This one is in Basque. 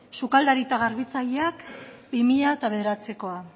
sukaldari eta garbitzaileak bi mila bederatzikoa